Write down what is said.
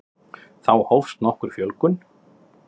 Þá hófst nokkur fjölgun.